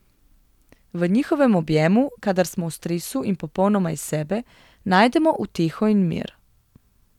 V njihovem objemu, kadar smo v stresu in popolnoma iz sebe, najdemo uteho in mir.